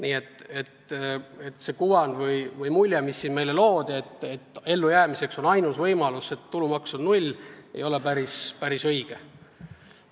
Nii et see kuvand, mis meile siin loodi, et ellujäämiseks on ainus võimalus kehtestada tulumaksu määraks null, ei ole päris õige.